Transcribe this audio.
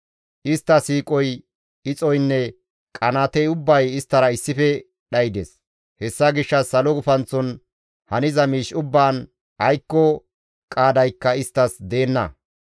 Istta siiqoy, ixoynne qanaatey ubbay isttara issife dhaydes. Hessa gishshas salo gufanththon haniza miish ubbaan aykko qaadaykka isttas deenna.